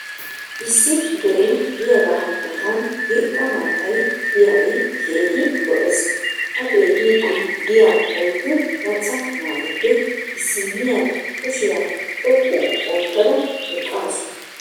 issi deree diyaagaa matan irxxa maatay diyaagee keehi lo'ees. a xeeliidi diya oyddu maca naatuppe issiniya kushshiya xoqu ootada eqaasu.